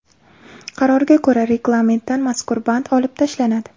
Qarorga ko‘ra, reglamentdan mazkur band olib tashlanadi.